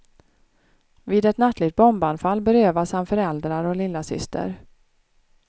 Vid ett nattligt bombanfall berövas han föräldrar och lillasyster.